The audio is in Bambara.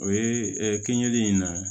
O ye keninge in na